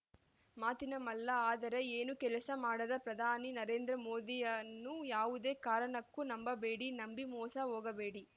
ಮಾತಿನ ಮಲ್ಲ ಆದರೆ ಏನು ಕೆಲಸ ಮಾಡದ ಪ್ರಧಾನಿ ನರೇಂದ್ರ ಮೋದಿಯವರನ್ನು ಯಾವದೇ ಕಾರಣಕ್ಕೂ ನಂಬಬೇಡಿ ನಂಬಿ ಮೋಸ ಹೋಗಬೇಡಿ